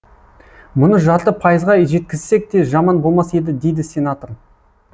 мұны жарты пайызға жеткізсек те жаман болмас еді дейді сенатор